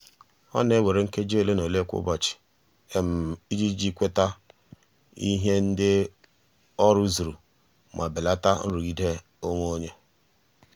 ọ na-ewere nkeji ole na ole kwa ụbọchị iji kweta ihe ndị ọ rụzuru ma belata nrụgide onwe ya.